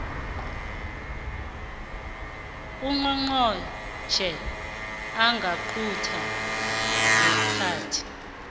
ungqongqotjhe angaqunta ngeenkhathi